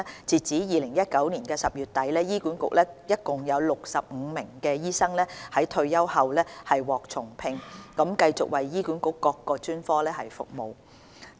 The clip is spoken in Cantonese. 截至2019年10月底，醫管局內共有65名醫生在退休後獲重聘，繼續為醫管局各專科服務。